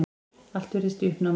Allt virðist í uppnámi.